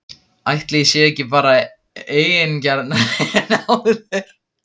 Ætli ég sé ekki bara eigingjarnari en áður?!